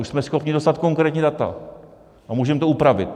Už jsme schopni dostat konkrétní data a můžeme to upravit.